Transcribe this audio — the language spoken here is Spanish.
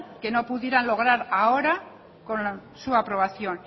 que no pudieran lograr ahora con su aprobación